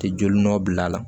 Tɛ joli nɔ bil'a la